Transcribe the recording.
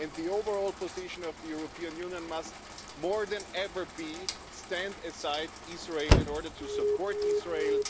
The overall position of the European Union must be, more than ever, to stand beside Israel in order to support Israel.